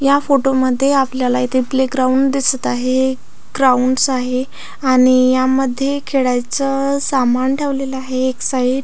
या फोटो मध्ये आपल्याला इथे प्ले ग्राउंड दिसत आहे ग्राउंडस आहे आणि यामध्ये खेळायचं सामान ठेवलेलं आहे एक साईड .